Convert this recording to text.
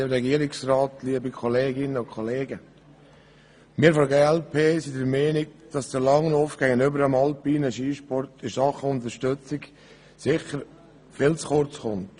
Wir von der glp sind der Meinung, dass der Langlauf gegenüber dem alpinen Skisport in Sachen Unterstützung sicher viel zu kurz kommt.